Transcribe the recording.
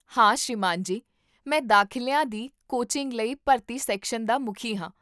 ਹਾਂ ਸ੍ਰੀਮਾਨ ਜੀ, ਮੈਂ ਦਾਖ਼ਲਿਆਂ ਦੀ ਕੋਚਿੰਗ ਲਈ ਭਰਤੀ ਸੈਕਸ਼ਨ ਦਾ ਮੁਖੀ ਹਾਂ